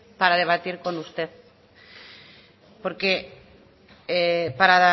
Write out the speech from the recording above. para debatir con usted porque para